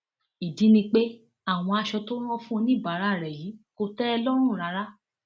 ìdí ni pé àwọn aṣọ tó rán fún oníbàárà rẹ yìí kò tẹ ẹ lọrùn rárá